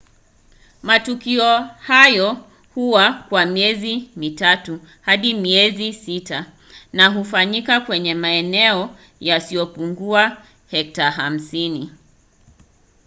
matukio hayo huwa kwa miezi mitatu hadi miezi sita na hufanyika kwenye maeneo yasiyopungua hekta 50